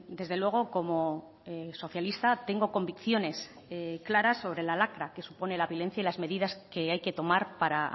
desde luego como socialista tengo convicciones claras sobre la lacra que supone la violencia y las medidas que hay que tomar para